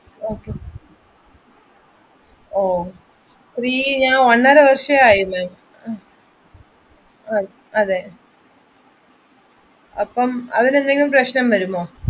Okay ഒന്നര വർഷമായില്ലേ അതെ അപ്പൊ അതിന് എന്തെങ്കിലും പ്രശ്നം വരുമോ